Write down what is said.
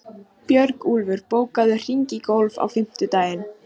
Björgúlfur, bókaðu hring í golf á fimmtudaginn.